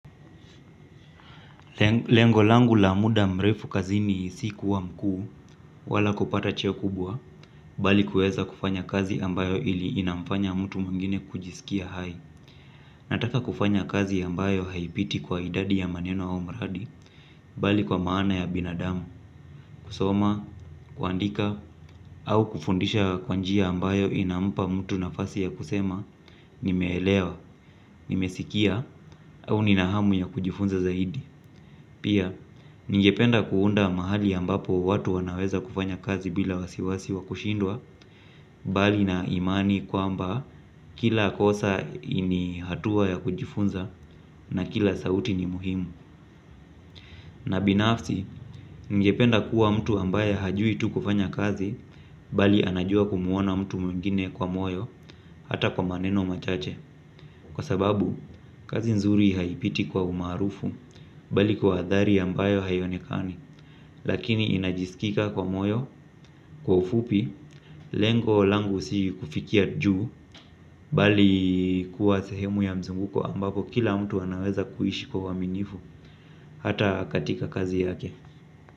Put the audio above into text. Lengo langu la muda mrefu kazini si kuwa mkuu wala kupata cheo kubwa bali kuweza kufanya kazi ambayo ili inamfanya mtu mwingine kujisikia hai. Nataka kufanya kazi ambayo haipiti kwa idadi ya maneno au mradi bali kwa maana ya binadamu, kusoma, kuandika au kufundisha kwa njia ambayo inampa mtu nafasi ya kusema nimeelewa, nimesikia au ninahamu ya kujifunza zaidi. Pia, ningependa kuunda mahali ambapo watu wanaweza kufanya kazi bila wasiwasi wa kushindwa bali na imani kwamba kila kosa ini hatuwa ya kujifunza na kila sauti ni muhimu. Na binafsi, ningependa kuwa mtu ambaye hajui tu kufanya kazi bali anajua kumuona mtu mwingine kwa moyo hata kwa maneno machache kwa sababu, kazi nzuri haipiti kwa umaarufu bali kwa adhari ambayo haionekani. Lakini inajisikika kwa moyo, kwa ufupi, lengo langu si kufikia juu. Bali kuwa sehemu ya mzunguko ambapo kila mtu anaweza kuishi kwa uaminifu. Hata katika kazi yake.